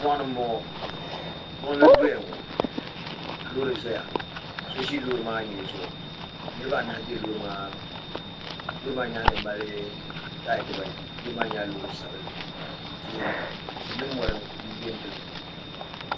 mɔɣini m-bɔŋɔ mɔɣuni n-doya ŋɔ ka loori zaya so ʒi loori maa nyee zuɣu ka niriba anahi be loori maa puuni loori maa nyaaŋa mali taaya dibaayi loori maa nyɛla loori sabinli tihi tihi ni mɔri m-be n-gili ba ŋɔ